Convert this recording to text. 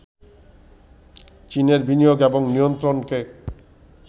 চীনের বিনিয়োগ এবং নিয়ন্ত্রণকে